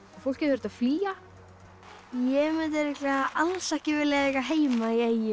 fólkið þurfti að flýja ég mundi alls ekki vilja eiga heima í eyjum